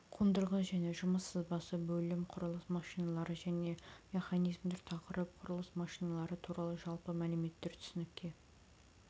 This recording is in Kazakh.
қондырғы және жұмыс сызбасы бөлім құрылыс машиналары және механизмдер тақырып құрылыс машиналары туралы жалпы мәліметтер түсінікке